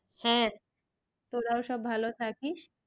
হ্যাঁ তোরাও সব ভালো থাকিস।